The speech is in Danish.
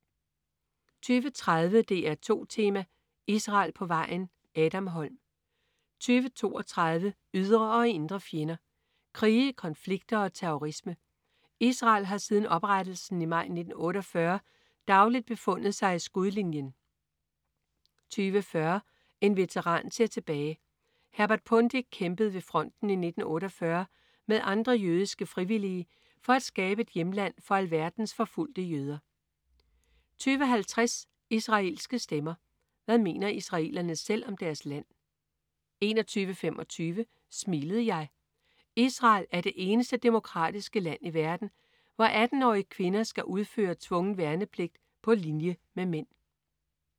20.30 DR2 Tema: Israel på vejen. Adam Holm 20.32 Ydre og indre fjender. Krige, konflikter og terrorisme: Israel har siden oprettelsen i maj 1948 dagligt befundet sig i skudlinjen 20.40 En veteran ser tilbage. Herbert Pundik kæmpede ved fronten i 1948 med andre jødiske frivillige for at skabe et hjemland for alverdens forfulgte jøder 20.50 Israelske stemmer. Hvad mener israelerne selv om deres land? 21.25 Smilede jeg? Israel er det eneste demokratiske land i verden, hvor 18-årige kvinder skal udføre tvungen værnepligt på linje med mænd